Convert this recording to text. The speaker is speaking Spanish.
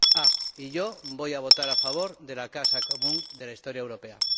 Y, por último yo voy a votar a favor de la Casa común de la Historia Europea.